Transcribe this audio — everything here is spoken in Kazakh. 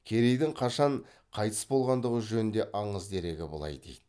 керейдің қашан қайтыс болғандығы жөнінде аңыз дерегі былай дейді